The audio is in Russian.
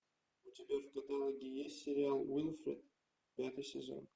у тебя в каталоге есть сериал уилфред пятый сезон